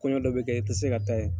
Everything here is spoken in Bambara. Kɔɲɔ dɔ bɛ kɛ i tɛ se ka ta yen.